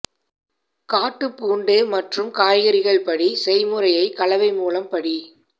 காட்டு பூண்டு மற்றும் காய்கறிகள் படி செய்முறையை கலவை மூலம் படி